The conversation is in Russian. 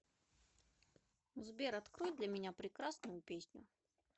сбер открой для меня прекрасную песню